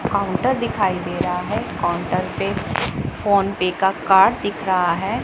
Counter दिखाई दे रहा है काउंटर पे फोन पे का कार्ड दिख रहा है।